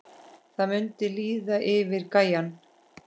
Það mundi líða yfir gæjann!